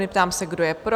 Ptám se, kdo je pro?